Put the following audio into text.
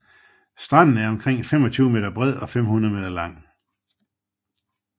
Stranden er omkring 25 m bred og 500 m lang